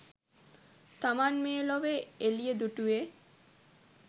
තමන් මේ ලොවේ එළිය දුටුවේ